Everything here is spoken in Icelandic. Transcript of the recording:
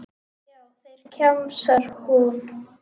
Já, þeir, kjamsar hún.